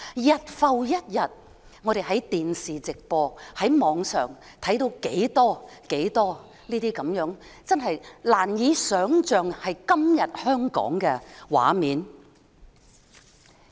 日復一日，我們在電視直播及互聯網上看到多少這些難以想象會在今天香港出現的畫面。